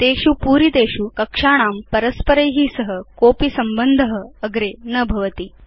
तेषु पूरितेषु कक्षाणाम् परस्पराभ्यां सह कोऽपि संबन्ध अग्रे न भवति